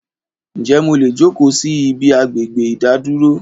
Ń jẹ́ mò lè jókò síí ibi agbègbè ìdádúró